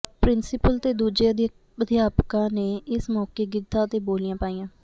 principal ਤੇ ਦੂਜੇ ਅਧਿਆਪਕਾਂ ਨੇ ਇਸ ਮੌਕੇ ਗਿੱਧਾ ਤੇ ਬੋਲੀਆਂ ਪਾਈਆਂ